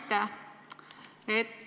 Aitäh!